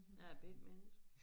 Jeg er B menneske